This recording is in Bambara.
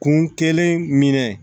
Kun kelen minɛ